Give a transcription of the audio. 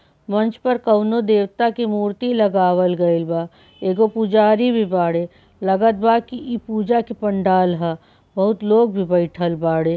मंच पर कौनो देवता के मूर्ति लगावल गइल बा एगो पुजारी भी बाड़े लागत बा की इ पूजा के पंडाल ह बहुत लोग भी बैठएल बाड़े।